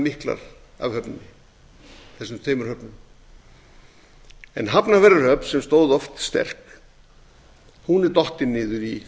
miklar af þessum tveimur höfnum hafnarfjarðarhöfn sem stóð oft sterk er dottin niður í